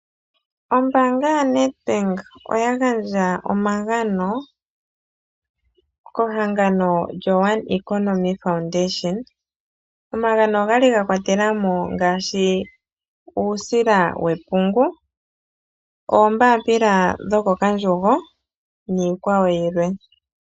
Ombaanga yoNedbank oya gandja omagano kehangano lyoOne Economy Foundation. Omagano ogali ga kwatela mo ngaashi, uusila wepungu, oombaapila dhokokandjugo niikwawo yilwe.